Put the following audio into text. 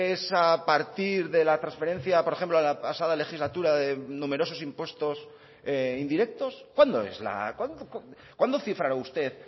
es a partir de la transferencia por ejemplo de la pasada legislatura de numerosos impuestos indirectos cuándo es cuándo cifrará usted